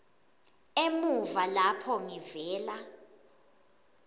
emuva lapho ngivela